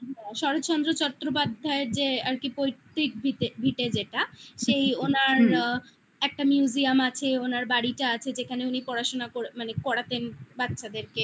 শরৎচন্দ্র চট্টোপাধ্যায়ের যে আর কি পৈতৃক ভিটে ভিটে যেটা ওনার একটা museum আছে ওনার বাড়িটা আছে যেখানে উনি পড়াশোনা মানে পড়াতেন বাচ্চাদেরকে